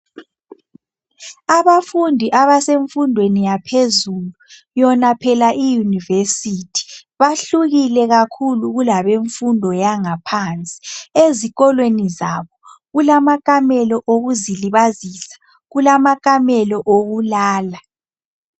Abafundi abasemfundweni yaphezulu, yona phela iuniversity, bahlukile kulabemfundo yangaphansi. Ezikolweni zabo kulamakamelo okuzilibazisa, kulamakamelo okulalala.